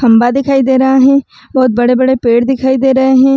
खम्बा दिखाई दे रहा है। बहोत बड़े-बड़े पेड़ दिखाई दे रहें हैं।